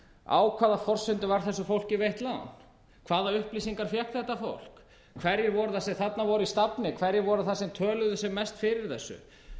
á hvaða forsendum var þessu fólki veitt lán hvaða upplýsingar fékk þetta fólk hverjir voru það sem þarna voru í stafni hverjir voru það sem töluðu mest fyrir þessu